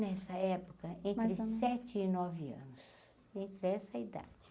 Nessa época, entre mais ou menos sete e nove anos, entre essa idade.